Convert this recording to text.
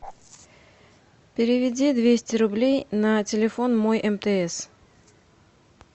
переведи двести рублей на телефон мой мтс